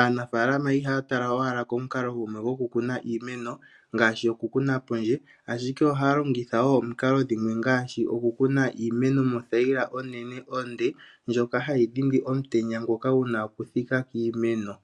Aanafalama ihaya tala owala komukalo gumwe gokukuna iimeno ngaashi okukuna pondje, ashike ohaa longitha wo omukalo dhimwe ngaashi okukuna iimeno mothayila onene onde, ndjoka hayi dhindi omutenya ngoka guna okuthika kiimeno.